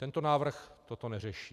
Tento návrh toto neřeší.